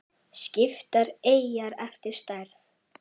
Skiptar eyjar eftir stærð